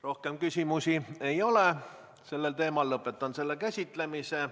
Rohkem küsimusi ei ole sellel teemal, lõpetan selle käsitlemise.